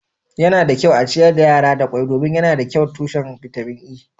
yana da kyau a ciyar da yara da kwai domin yana da kyau tushen bitamin E